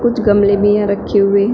कुछ गमले भी यहां रखे हुए हैं।